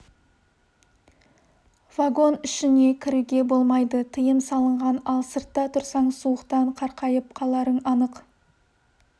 вагон ішіне кіруге болмайды тыйым салынған ал сыртта тұрсаң суықтан қақайып қаларың анық